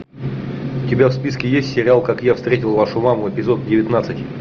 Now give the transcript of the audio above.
у тебя в списке есть сериал как я встретил вашу маму эпизод девятнадцать